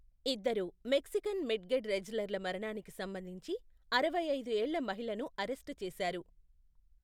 ఇద్దరు Mexican midget రెజ్లర్ల మరణానికి సంబంధించి అరవై ఐదు ఏళ్ల మహిళను అరెస్టు చేశారు.